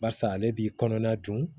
Barisa ale b'i kɔnɔna dun